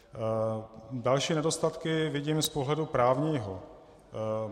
Další nedostatky vidím z pohledu právního.